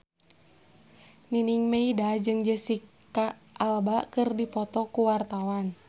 Nining Meida jeung Jesicca Alba keur dipoto ku wartawan